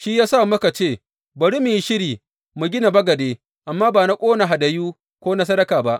Shi ya sa muka ce, Bari mu yi shiri mu gina bagade, amma ba na ƙona hadayu ko na sadaka ba.’